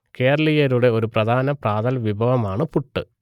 കേരളീയരുടെ ഒരു പ്രധാന പ്രാതൽ വിഭവമാണ് പുട്ട്